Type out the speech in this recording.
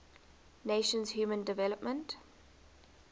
nations human development